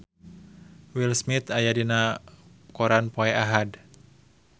Will Smith aya dina koran poe Ahad